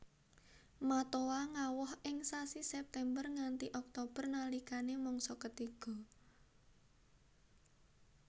Matoa ngawoh ing sasi September nganti Oktober nalikane mangsa ketiga